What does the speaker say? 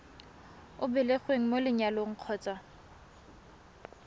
o belegweng mo lenyalong kgotsa